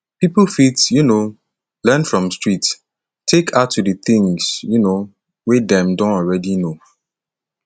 pipo fit um learn from street take add to di things um wey dem don already know